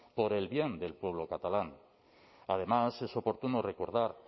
por el bien del pueblo catalán además es oportuno recordar